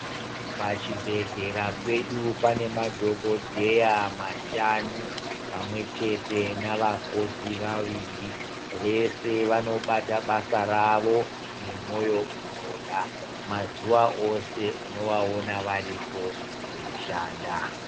Pachibhedhlera pedu panemadhokodheya mashanu pamwe chete navakoti vaviri. Vese vanobata basa ravo nemoyo unoda. Mazuwa ose unovaona varipo veyishanda.